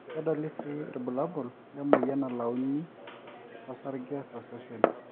kedoli sii irbulabul le moyian nalauni sarge tosesen